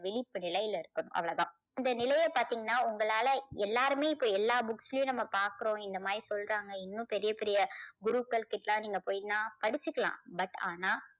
விழிப்பு நிலையில இருக்கணும் அவ்வளவுதான். இந்த நிலையை பார்த்தீங்கன்னா உங்களால எல்லாருமே இப்போ எல்லா books யும் நம்ம பாக்குறோம். இந்த மாதிரி சொல்றாங்க. இன்னும் பெரிய பெரிய குருக்கள் கிட்ட எல்லாம் நீங்க போய்னா படிச்சுக்கலாம் but ஆனா